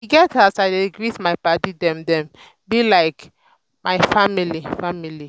e get as i dey greet my paddy dem dem be like mt family. family.